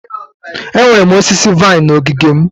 Enwere m osisi vine na ogige m.